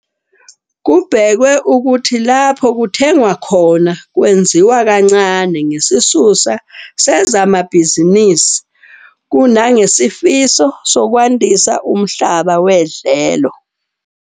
Kubhekwe ukuthi lapho kuthengwa khona kwenziwa kancane ngesisusa sezamabhizinisi kunangesifiso sokwandisa umhlaba wedlelo.